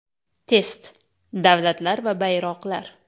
Test: Davlatlar va bayroqlar.